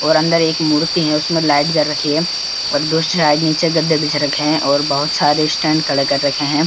और अंदर एक मूर्ति है उसमें लाईट जल रखी है और साईड नीचे गद्दे बिछ रखे हैं और बहुत सारे स्‍टेण्‍ड खड़े कर रखे हैं।